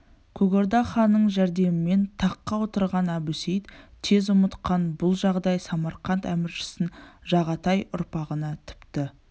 көк орда ханының жәрдемімен таққа отырғанын әбусейіт тез ұмытқан бұл жағдай самарқант әміршісін жағатай ұрпағына тіпті